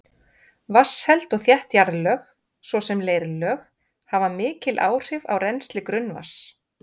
Vatnsheld og þétt jarðlög, svo sem leirlög, hafa mikil áhrif á rennsli grunnvatns.